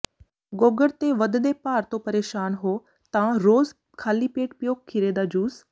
ਗੋਗੜ ਤੇ ਵਧਦੇ ਭਾਰ ਤੋਂ ਪ੍ਰੇਸ਼ਾਨ ਹੋ ਤਾਂ ਰੋਜ਼ ਖਾਲੀ ਪੇਟ ਪੀਓ ਖੀਰੇ ਦਾ ਜੂਸ